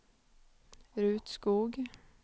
Ruth Skog